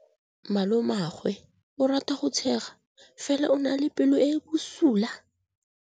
Malomagwe o rata go tshega fela o na le pelo e e bosula.